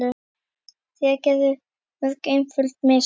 Þeir gerðu mörg einföld mistök.